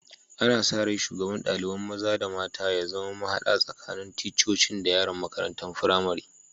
Ana sa rai shugaban dalibain maza/mata ya zama mahada tsakanin ticcocin da yaran makarantan firamari.